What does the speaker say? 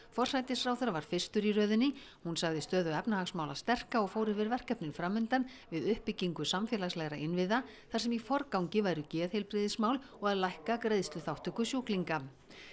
forsætisráðherra var fyrstur í röðinni hún sagði stöðu efnahagsmála sterka og fór yfir verkefnin fram undan við uppbyggingu samfélagslegra innviða þar sem í forgangi væru geðheilbrigðismál og að lækka greiðsluþátttöku sjúklinga